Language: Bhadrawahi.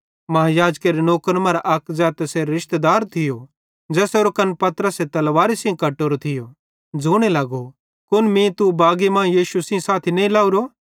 महायाजकेरे नौकरन मरां अक ज़ै तैसेरो रिशतेदार थियो ज़ेसेरो कन्न पतरसे तलवारी सेइं कटोरो थियो ज़ोने लगो कुन मीं तू बागी मां यीशु साथी नईं लाहोरो